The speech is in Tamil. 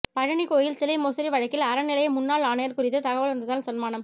பழநி கோயில் சிலை மோசடி வழக்கில் அறநிலைய முன்னாள் ஆணையர் குறித்து தகவல் தந்தால் சன்மானம்